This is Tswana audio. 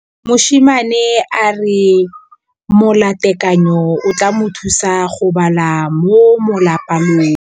Mosimane a re molatekanyô o tla mo thusa go bala mo molapalong.